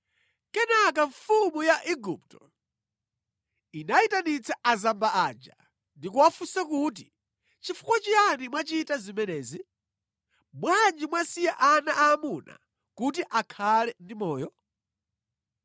Kenaka mfumu ya Igupto inayitanitsa azamba aja ndi kuwafunsa kuti, “Chifukwa chiyani mwachita zimenezi? Bwanji mwasiya ana aamuna kuti akhale ndi moyo?”